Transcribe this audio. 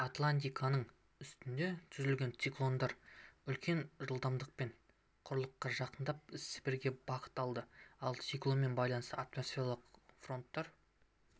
атлантиканың үстінде түзілген циклондар үлкен жылдамдықпен құрлыққа жақындап сібірге бағыт алады ал циклонмен байланысты атмосфералық фронттар